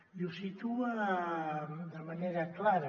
i ho situa de manera clara